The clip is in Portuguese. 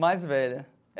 Mais velha.